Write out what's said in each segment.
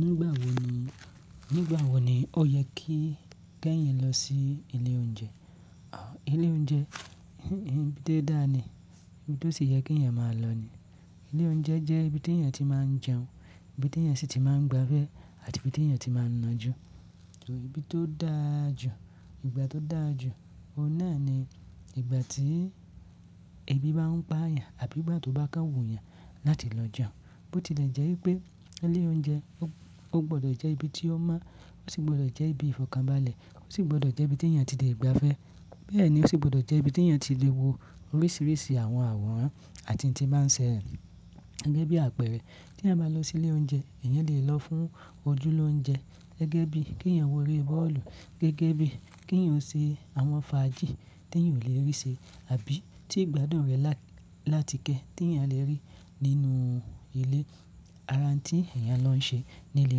Nígbà wo ni, nígbà wo ni ó yẹ kí kéyàn lọ sí ilé oúnjẹ? À ilé oúnjẹ ibi tó dáa ni, ibi tó sì yẹ kí èèyàn máa lọ ni. Ilé oúnjẹ jẹ́ ibi tí èèyàn tí máa ń jẹun, ibi tí èèyàn sì tí máa ń gbafẹ́ àti ibi tí èèyàn ti máa ń nàá jù. Torí bí tó dàà jù, ìgbà tó dàà jù, óun náà ni ìgbà tí ebi bá ń pa ẹ̀yàn àbí ìgbà tó bá káwò yàn láti lọ jẹun. Bó tilẹ̀ jẹ́ wípé ilé oúnjẹ, ó gbọ́dọ̀ jẹ́ ibi tí ó mọ, ó sì gbọ́dọ̀ jẹ́ ibi ìfọ̀kànbalẹ̀, ó sì gbọ́dọ̀ jẹ́ ibi tí èèyàn tí lè gba ẹ́. Bẹ́ẹ̀ ni ó sì gbọ́dọ̀ jẹ́ ibi tí èèyàn tí lè wo oríṣìíríṣìí àwọn àwòrán àti tí máa ń ṣẹrẹ gẹ́gẹ́ bí àpẹẹrẹ. Kí èèyàn bá lọ sí ilé oúnjẹ, èèyàn lè lọ fún ojúlóúnjẹ gẹ́gẹ́ bí kí èèyàn wo eré bọ́ọ̀lù gẹ́gẹ́ bí kí èèyàn ṣe àwọn fàájì tí èèyàn ò lè rí ṣe àbí tí ìgbádùn rẹ̀ lá-látikẹ́ tí èèyàn lè rí nínú ilé ara òun tí èèyàn lọ ń ṣe ní ilé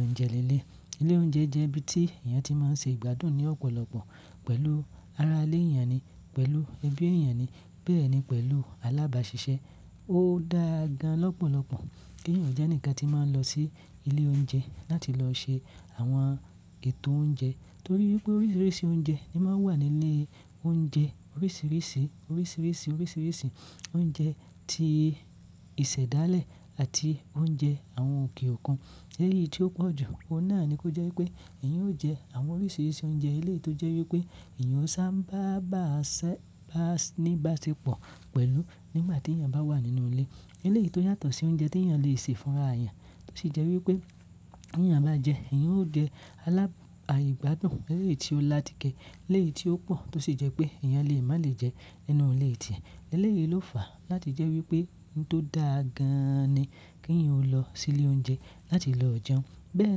oúnjẹ leleyii. Ilé oúnjẹ jẹ́ ibi tí èèyàn ti máa ń ṣe ìgbádùn ní ọ̀pọ̀lọpọ̀ pẹ̀lú ara ilé èèyàn ni, pẹ̀lú ẹbí èèyàn ni, bẹ́ẹ̀ ni pẹ̀lú alábàáṣiṣẹ́. Ó dàà gan lọ́pọ̀lọpọ̀ kí èèyàn jẹ́ ǹkan tí máa ń lọ sí ilé oúnjẹ láti lọ ṣe àwọn ètò oúnjẹ torí wípé oríṣìíríṣìí oúnjẹ ni máa ń wà nínú ilé oúnjẹ. Oríṣìíríṣìí, oríṣìíríṣìí, oríṣìíríṣìí oúnjẹ ti ìṣẹ̀dálẹ̀ àti oúnjẹ àwọn òkè òkun. Eléyìí tí ó pọ̀ jù, ó náà ni kó jẹ́ wípé èèyàn ó jẹ àwọn oríṣìíríṣìí oúnjẹ eléyìí tó jẹ́ wípé èèyàn ó sáábà ba sẹ-ba ní bá ṣe pọ̀ pẹ̀lú nígbà tí èèyàn bá wà nínú ilé. Eléyìí tó yàtọ̀ sí oúnjẹ tí èèyàn lè sè fún ara èèyàn, tó sì jẹ́ wípé tí èèyàn bá jẹ, èèyàn ó jẹ alábà-ìgbádùn eléyìí tí ó làátikẹ́, eléyìí tí ó pọ̀ tó sì jẹ́ pé èèyàn lè má lè jẹ nínú ilé tíẹ̀. Eléyìí ló fàá láti jẹ́ wípé ohun tó dàà gan ni kí èèyàn ó lọ sí ilé oúnjẹ láti lọ jẹun. Bẹ́ẹ̀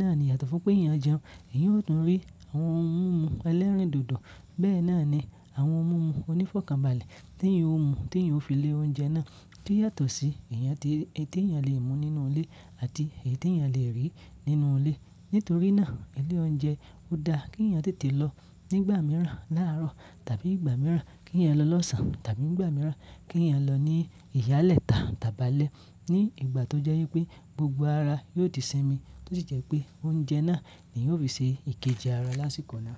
náà ni yàtọ̀ fún pé èèyàn jẹun, èèyàn ó tún rí àwọn ohun mímu ẹlẹ́rìndòdò, bẹ́ẹ̀ náà ni àwọn ohun mímu onífọ̀kànbalẹ̀ tí èèyàn ó mu tí èèyàn ó fi lé oúnjẹ náà tí ó yàtọ̀ sí èèyàn ti, èyí tí èèyàn lè mú nínú ilé àti èyí tí èèyàn lè rí nínú ilé. Nítorí náà ilé oúnjẹ ò dáa kí èèyàn tètè lọ nígbà mìíràn láàárọ̀ tàbí ìgbà mìíràn kí èèyàn lọ lọ́sàn-án tàbí ìgbà mìíràn kí èèyàn lọ ní ìyálẹ̀ta tàbálẹ̀ ní ìgbà tó jẹ́ wípé gbogbo ara yóò di sími tó sì jẹ́ pé oúnjẹ náà ni yóò fi ṣe ìkejì ara lásìkò náà.